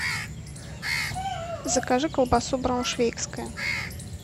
закажи колбасу брауншвейгская